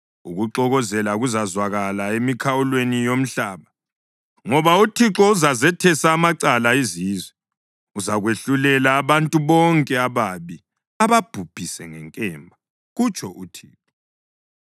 Ukuxokozela kuzazwakala emikhawulweni yomhlaba, ngoba uThixo uzazethesa amacala izizwe; uzakwahlulela abantu bonke ababi ababhubhise ngenkemba,’ ” kutsho uThixo.